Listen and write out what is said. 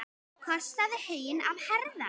Kostaðu huginn að herða.